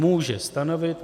Může stanovit.